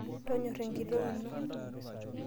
Tonyora enkitok ino.